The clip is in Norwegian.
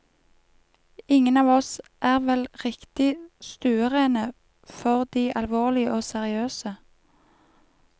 Ingen av oss er vel riktig stuerene for de alvorlige og seriøse.